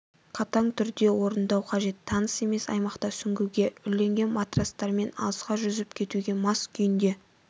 қатаң түрде орындау қажет таныс емес аймақта сүңгуге үрленген матрастармен алысқа жүзіп кетуге мас күйінде